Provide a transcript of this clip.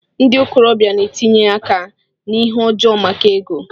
Ndị okorobia na-etinye áká na ihe ọjọọ maka ego.